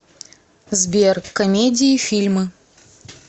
сбер комедии фильмы